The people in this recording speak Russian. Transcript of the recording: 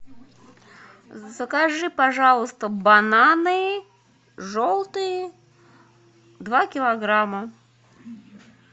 закажи пожалуйста бананы желтые два килограмма